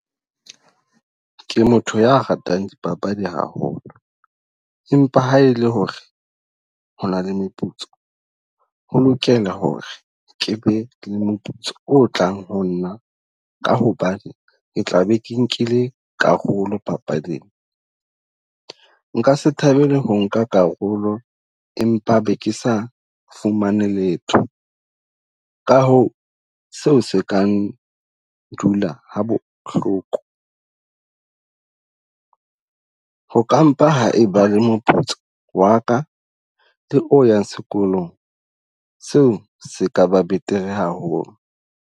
Ke motho ya ratang dipapadi haholo, empa ha ele hore hona le meputso ho lokela hore ke be le moputso o tlang ho nna. Ka hobane ke tla be ke nkile karolo papading. Nka se thabele ho nka karolo, empa be ke sa fumane letho. Ka hoo, seo se kang dula ha bohloko. Ho ka mpa ha eba le moputso wa ka le o yang sekolong seo se kaba betere haholo.